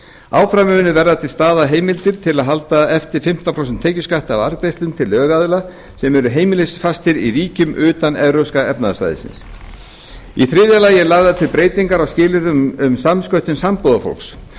áfram mun verða til staðar heimild til að halda eftir fimmtán prósent tekjuskatti af arðgreiðslum til lögaðila sem eru heimilisfastir í ríkjum utan evrópska efnahagssvæðisins í þriðja lagi eru lagðar til breytingar á skilyrðum fyrir samsköttun sambúðarfólks